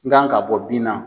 N kan ka bɔ bin na.